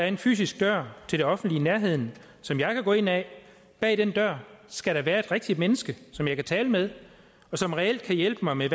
en fysisk dør til det offentlige i nærheden som jeg kan gå ind ad bag den dør skal der være et rigtigt menneske som jeg kan tale med og som reelt kan hjælpe mig med